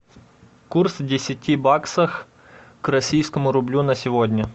курс десяти баксов к российскому рублю на сегодня